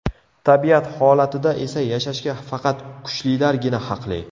Tabiat holatida esa yashashga faqat kuchlilargina haqli.